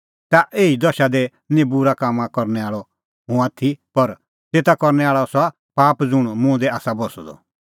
तै एही दशा दी निं तिन्नां बूरै कामां करनै आल़अ हुंह आथी पर तेता करनै आल़अ आसा पाप ज़ुंण मुंह दी आसा बस्सअ द